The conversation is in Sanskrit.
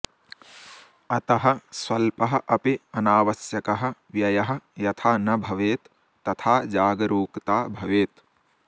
अतः स्वल्पः अपि अनावश्यकः व्ययः यथा न भवेत् तथा जागरूकता भवेत्